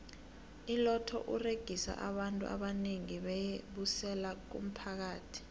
iloto uregisa abantu abanengi beyi busela kumphakathi